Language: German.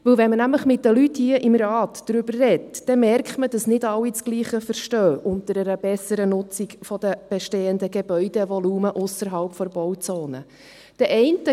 Wenn man nämlich mit den Leuten hier im Rat darüber spricht, merkt man, dass nicht alle dasselbe unter einer besseren Nutzung von bestehenden Gebäudevolumen ausserhalb der Bauzone verstehen.